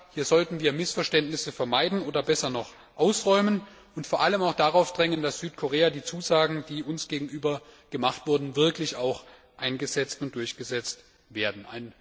etc. Hier sollten wir Missverständnisse vermeiden oder besser noch ausräumen und vor allem auch darauf drängen, dass in Südkorea die Zusagen, die uns gegenüber gemacht wurden, wirklich auch durchgesetzt werden.